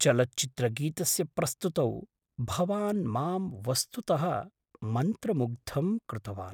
चलच्चित्रगीतस्य प्रस्तुतौ भवान् मां वस्तुतः मन्त्रमुग्धं कृतवान्!